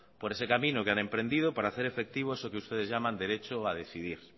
por ese camino que han emprendido para hacer efectivo eso que ustedes llaman derecho a decidir